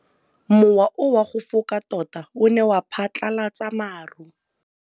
Mowa o wa go foka tota o ne wa phatlalatsa maru.